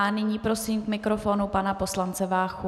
A nyní prosím k mikrofonu pana poslance Váchu.